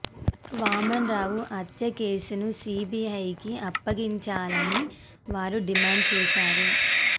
వామన్ రావు హత్య కేసును సీబీఐ కి అప్పగించాలని వారు డిమాండ్ చేశారు